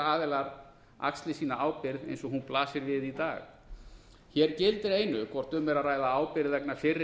aðilar axli sína ábyrgð eins og hún blasir við í dag hér gildir einu hvort um er að ræða ábyrgð vegna fyrri